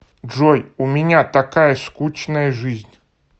джой у меня такая скучная жизнь